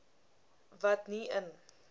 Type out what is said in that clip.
wat nie in